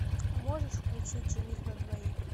можешь включить жених на двоих